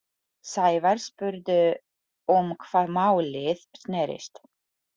Sævar spurði um hvað málið snerist.